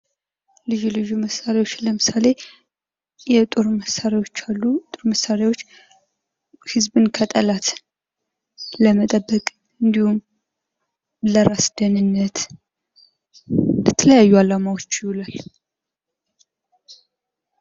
ልዩ ልዩ መሣሪያዎች ለምሳሌ ጦር መሣሪያዎች አሉ። ጦር መሳሪያዎች ህዝብን ከጠላት ለመጠበቅ እንዲሁም ለራስ ደንነት ለተለያዩ አላማዎች ይውላል።